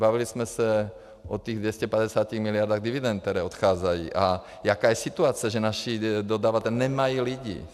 Bavili jsme se o těch 250 miliardách dividend, které odcházejí, a jaká je situace, že naši dodavatelé nemají lidi.